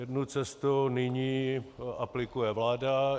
Jednu cestu nyní aplikuje vláda.